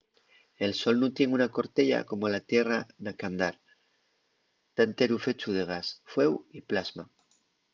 el sol nun tien una corteya como la tierra na qu'andar ta enteru fechu de gas fueu y plasma